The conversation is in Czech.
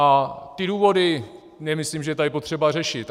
A ty důvody nemyslím, že je tady třeba řešit.